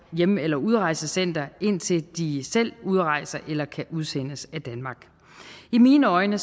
hjem eller udrejsecenter indtil de selv udrejser eller kan udsendes af danmark i mine øjne